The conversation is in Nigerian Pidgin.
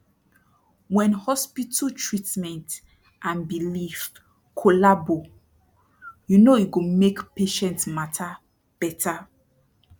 wen hospital treatment and belief collabo you know e go make patient mata beta